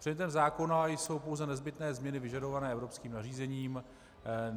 Předmětem zákona jsou pouze nezbytné změny vyžadované evropským nařízením.